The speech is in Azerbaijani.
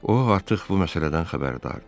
O artıq bu məsələdən xəbərdardır.